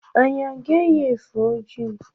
anyị a ga-eyi efe ojii?